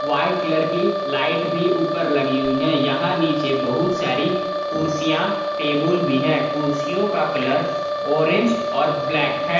White colour की light भी ऊपर लगी हुई है यहां नीचे बहुत सारी कुर्सियां टेबुल भी है कुर्सियों का कलर ऑरेंज और ब्लैक है।